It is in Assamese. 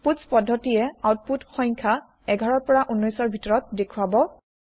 পুতছ পদ্ধতিয়ে আউতপুত সংখ্যা ১১ ১৯ ৰ ভিতৰত দেখুৱাব